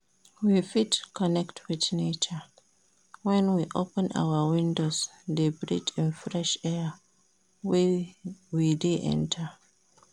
We fit connect with nature when we open our windows de breath in fresh air wey de enter